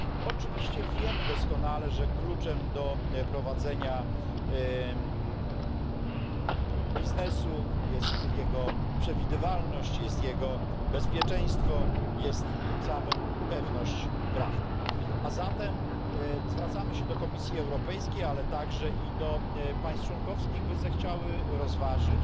Oczywiście wiemy doskonale, że kluczem do prowadzenia biznesu jest jego przewidywalność, jest jego bezpieczeństwo, jest tym samym pewność prawna, a zatem zwracamy się do Komisji Europejskiej, ale także i do państw członkowskich, by zechciały rozważyć